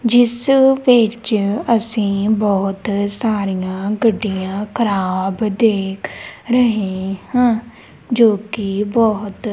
ਜਿਸ ਵਿੱਚ ਅਸੀਂ ਬਹੁਤ ਸਾਰੀਆਂ ਗੱਡੀਆਂ ਖਰਾਬ ਦੇਖ ਰਹੇ ਹਾਂ ਜੋ ਕਿ ਬਹੁਤ--